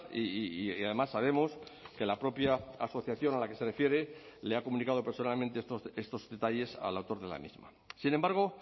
y además sabemos que la propia asociación a la que se refiere le ha comunicado personalmente estos detalles al autor de la misma sin embargo